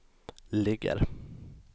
ligger